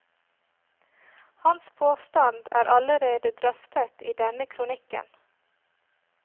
Hans påstand er allerede drøftet i denne kronikken.